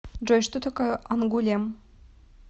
джой что такое ангулем